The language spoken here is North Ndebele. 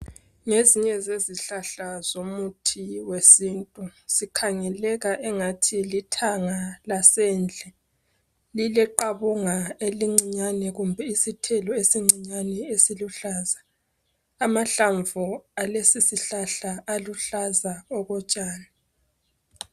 ngezinye zezihlahla zomuthi wesintu sikhangeleka engathi lithanga lasendle lile qabunga elincinyane kumbe isithelo esincinyane esiluhlza amahlamvu alesi sihlahla aluhlaza okotshani